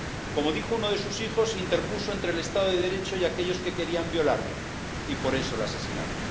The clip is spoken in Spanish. Como dijo uno de sus hijos, se interpuso entre el Estado de Derecho y aquellos que querían violarlo, y por eso la asesinaron.